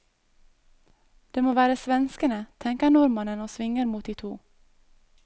Det må være svenskene, tenker nordmannen og svinger mot de to.